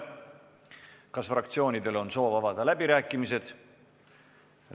Kas fraktsioonidel on soovi avada läbirääkimised?